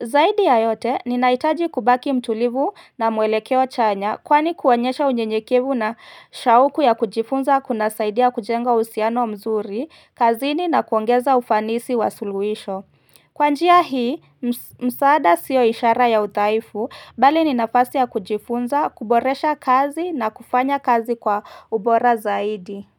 Zaidi ya yote, ninaitaji kubaki mtulivu na mwelekeo chanya kwani kuonyesha unyenyekevu na shauku ya kujifunza kuna saidia kujenga uhusiano mzuri, kazini na kuongeza ufanisi wa suluisho. Kwa njia hii, msaada siyo ishara ya udhaifu, bali ni nafasi ya kujifunza, kuboresha kazi na kufanya kazi kwa ubora zaidi.